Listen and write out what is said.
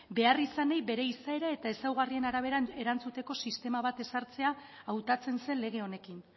beharrizanei bere izaera eta ezaugarrien arabera erantzuteko sistema bat ezartzea hautatzen zen lege honekin